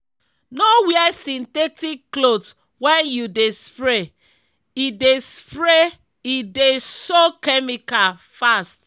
no wear synthetic cloth when you dey spray—e dey spray—e dey soak chemical fast.